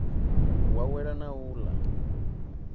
u awela na u ḽa